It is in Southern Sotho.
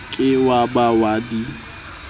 ke wa ba wa di